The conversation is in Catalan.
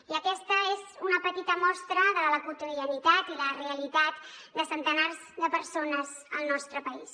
i aquesta és una petita mostra de la quotidianitat i la realitat de centenars de persones al nostre país